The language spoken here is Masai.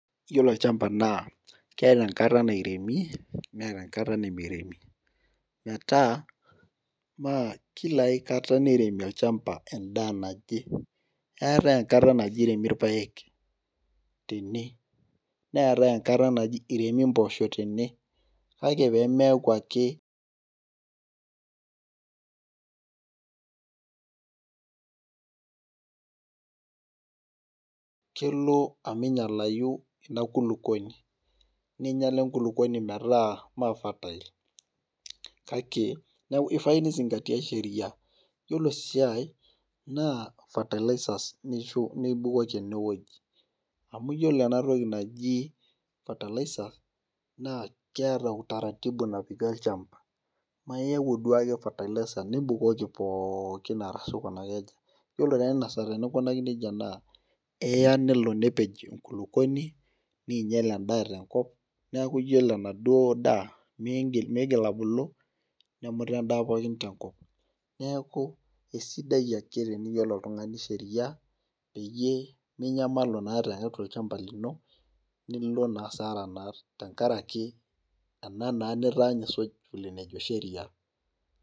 iyiolo olchampa naa keeta enkata nairemi, neeta enkata nimiremi, metaa Kila aikata niremi olchampa edaa naje, eeta enkata naji iremi ilpaek, tene meetae enkata naji iremi mpoosho tene. kake pee meeku ake kelo omingialayu ena kulupuoni. ningiala enkulupuoni metaa ime fertile. kake ifai ni zingatia Sheria, iyiolo esiai. naa fertilizerz nibukoki ene wueji amu iyiolo ena toki naji fertilizer naa kiata utaratibu napiki olchampa ime iyau ake duo fertilizer nibukoki pookin ashu aikunaki aja. iyiolo taa Ina saa teninkunaki nejia naa eya nelo nepej enkulupuoni, neing'ial edaa tenkop. neeku iyiolo e aduoo daa, miigil abuli. nemuta edaa pookin tenkp. neeku isaidia ake teniyiolo oltungani Sheria, peyie minyamalu naa iyata olchampa lino. nemilo naa asara naa tenkaraki ena naa nitanya isuj enejo Sheria.